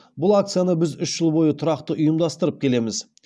бұл акцияны біз үш жыл бойы тұрақты ұйымдастырып келеміз